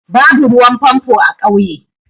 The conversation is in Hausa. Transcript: Babu ruwan famfo a ƙauye.